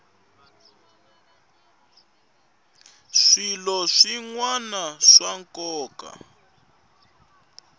swilo swin wana swa nkoka